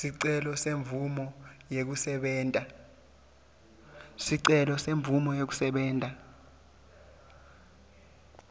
sicelo semvumo yekusebenta